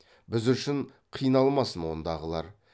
біз үшін қиналмасын ондағылар